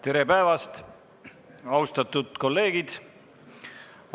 Tere päevast, austatud kolleegid!